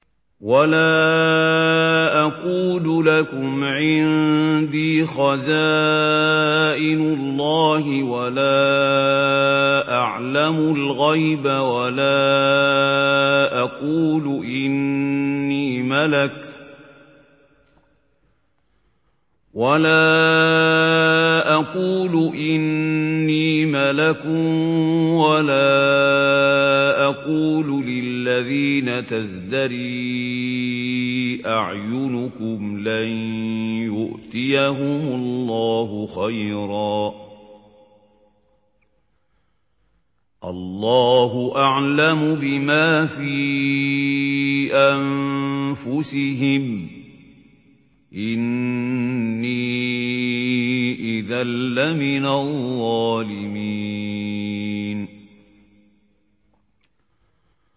وَلَا أَقُولُ لَكُمْ عِندِي خَزَائِنُ اللَّهِ وَلَا أَعْلَمُ الْغَيْبَ وَلَا أَقُولُ إِنِّي مَلَكٌ وَلَا أَقُولُ لِلَّذِينَ تَزْدَرِي أَعْيُنُكُمْ لَن يُؤْتِيَهُمُ اللَّهُ خَيْرًا ۖ اللَّهُ أَعْلَمُ بِمَا فِي أَنفُسِهِمْ ۖ إِنِّي إِذًا لَّمِنَ الظَّالِمِينَ